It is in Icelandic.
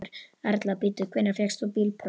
Erla: Bíddu, hvenær fékkst þú bílpróf?